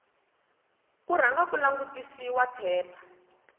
ku rhanga ku langutisiwa phepha